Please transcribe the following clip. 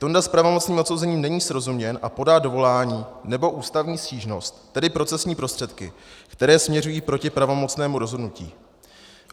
Tonda s pravomocným odsouzením není srozuměn a podá dovolání nebo ústavní stížnost, tedy procesní prostředky, které směřují proti pravomocnému rozhodnutí.